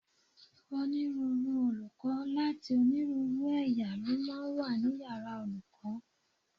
Onírúurú olùkọ́ láti onírúurú ẹ̀yà ló máa ń wà ní yàrá olùkọ́